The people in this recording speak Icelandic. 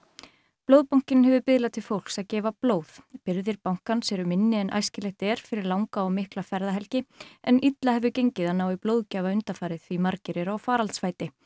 Blóðbankinn hefur biðlað til fólks að gefa blóð birgðir bankans eru minni en æskilegt er fyrir langa og mikla ferðahelgi en illa hefur gengið að ná í blóðgjafa undanfarið því margir eru á faraldsfæti